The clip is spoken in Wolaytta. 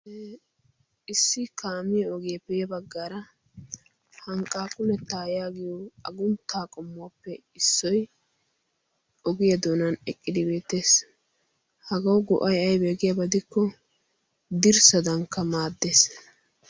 issi kaamiyo ogiyeepeee yaggara hanqqaa kunettaa yaagiyo agunttaa qommuwaappe issoi ogiyaa doonan eqqidibeetees hagau go7ai aibeegiyaabadikko dirssadankka maaddees